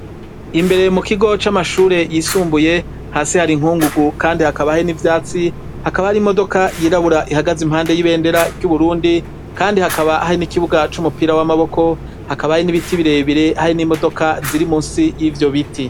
Imbere mu kigo c' amashure y' isumbuye hasi har'inkungugu kandi hakaba harimw' ivyatsi, har' imodoka yirabur' ihagaz' iruhande y'ibendera ry' igihugu cu Burundi kandi hakaba har' ikibuga c' umupira w' amaboko, hakaba hari n 'ibiti birerire hari n' imodoka ziri munsi yivyo biti.